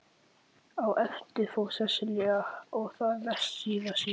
Á eftir fór Sesselja og þar næst síra Sigurður.